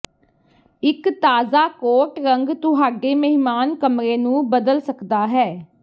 ਇੱਕ ਤਾਜ਼ਾ ਕੋਟ ਰੰਗ ਤੁਹਾਡੇ ਮਹਿਮਾਨ ਕਮਰੇ ਨੂੰ ਬਦਲ ਸਕਦਾ ਹੈ